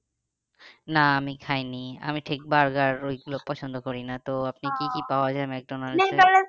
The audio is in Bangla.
না আমি খাইনি আমি ঠিক burger ওইগুলো পছন্দ করি না তো আপনি কি কি পাওয়া যায়